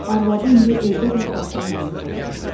Arvadı indi evdə də başına yaylıq örtürdü.